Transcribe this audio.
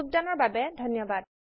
দৰ্শন দিয়া বাবে ধণ্যবাদ